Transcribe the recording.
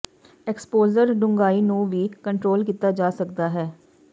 exposure ਡੂੰਘਾਈ ਨੂੰ ਵੀ ਕੰਟਰੋਲ ਕੀਤਾ ਜਾ ਸਕਦਾ ਹੈ